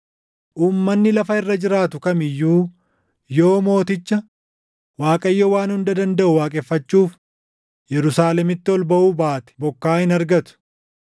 Uummanni lafa irra jiraatu kam iyyuu yoo Mooticha, Waaqayyo Waan Hunda Dandaʼu waaqeffachuuf Yerusaalemitti ol baʼuu baate bokkaa hin argatu.